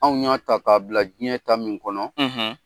Anw ɲa ta k'a bila diɲɛ ta min kɔnɔ